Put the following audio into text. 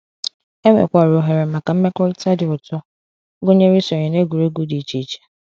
Enwekwara ohere maka mmekọrịta dị ụtọ, gụnyere isonye na egwuregwu dị iche iche.